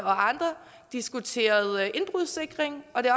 og andre diskuteret indbrudssikring og det